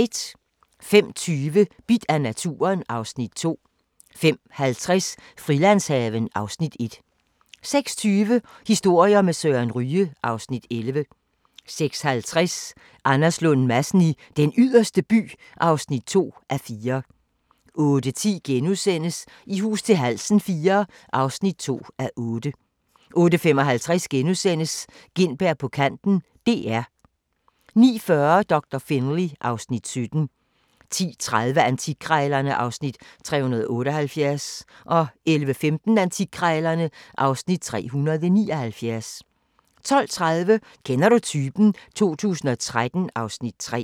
05:20: Bidt af naturen (Afs. 2) 05:50: Frilandshaven (Afs. 1) 06:20: Historier med Søren Ryge (Afs. 11) 06:50: Anders Lund Madsen i Den Yderste By (2:4) 08:10: I hus til halsen IV (2:8)* 08:55: Gintberg på kanten - DR * 09:40: Doktor Finlay (Afs. 17) 10:30: Antikkrejlerne (Afs. 378) 11:15: Antikkrejlerne (Afs. 379) 12:30: Kender du typen? 2013 (Afs. 3)